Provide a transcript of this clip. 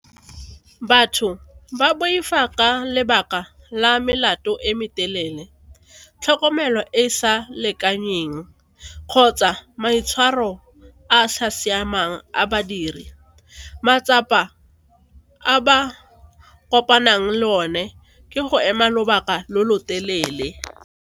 Batho ba boifa ka lebaka la melato e metelele, tlhokomelo e e sa lekaneng kgotsa maitshwaro a sa siamang a badiri. Matsapa a ba kopanang le one ke go ema lobaka lo lo telele.